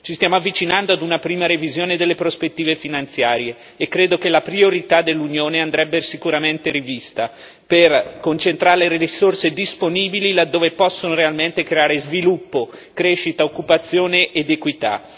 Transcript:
Ci stiamo avvicinando a una prima revisione delle prospettive finanziarie e credo che la priorità dell'Unione andrebbe sicuramente rivista per concentrare le risorse disponibili laddove possono realmente creare sviluppo, crescita, occupazione ed equità.